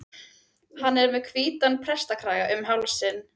Hann er með hvítan prestakraga um hálsinn.